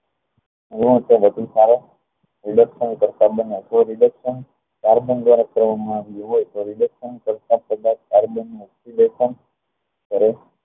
હોવા થી વધુ સારું રીદેક્ષ્ carbon દ્વારા કરવા માં આવતો